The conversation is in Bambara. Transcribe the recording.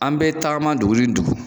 An bɛ tagama dugu ni dugu